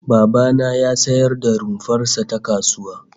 Baba na ya sayar da rumfar sa ta kasuwa